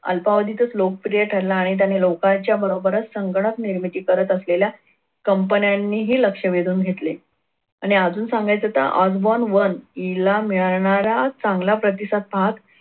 अल्पावधीतच लोकप्रिय ठरला आणि त्याने लोकांच्या बरोबरच संगणक निर्मिती करत असलेल्या कंपन्यांनी ही लक्ष वेधून घेतले. आणि अजून सांगायचं तर Osborn one तिला मिळणारा चांगला प्रतिसाद पाहत